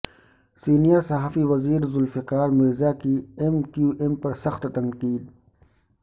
senior صوبائی وزیر ذوالفقار مرزا کی ایم کیو ایم پر سخت تنقید